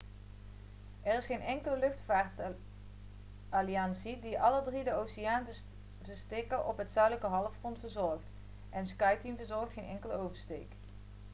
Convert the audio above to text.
er is geen enkele luchtvaartalliantie die alle drie de oceaanoversteken op het zuidelijk halfrond verzorgt en skyteam verzorgt geen enkele oversteek